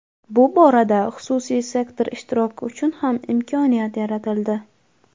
bu borada xususiy sektor ishtiroki uchun ham imkoniyat yaratildi.